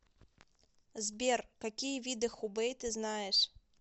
сбер какие виды хубэй ты знаешь